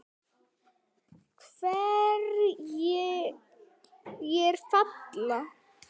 Hverjir falla?